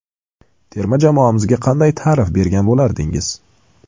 Terma jamoamizga qanday ta’rif bergan bo‘lardingiz?